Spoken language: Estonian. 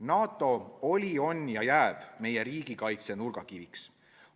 NATO oli, on ja jääb meie riigikaitse nurgakiviks.